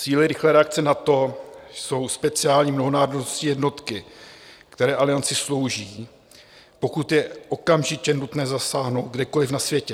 Síly rychlé reakce NATO jsou speciální mnohonárodní jednotky, které Alianci slouží, pokud je okamžitě nutné zasáhnout kdekoli na světě.